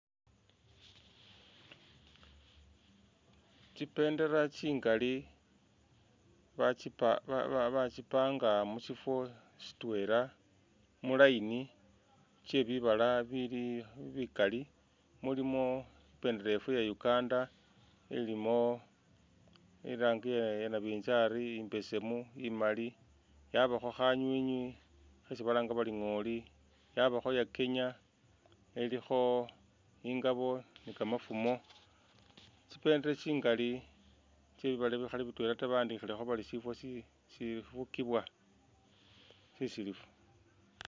Tsibendera tsingali batsi pa ba ba batsipanga mu shifo shitwela mu line tsyebibala bili bikali mulimo ibendela yeffe iya Uganda ilimo irangi ya nabinzali, imbesemu, imaali yabakho khanywinywi khesi balanga bari ngooli, yabakho iya kenya ilikho ingabo ni kamafumo tsibendera tsingali tsye bibaala bikhali bitwela bawandikhilekho bari shifo shifugibwa shisilifu.